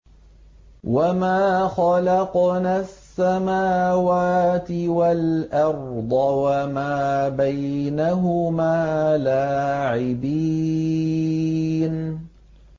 وَمَا خَلَقْنَا السَّمَاوَاتِ وَالْأَرْضَ وَمَا بَيْنَهُمَا لَاعِبِينَ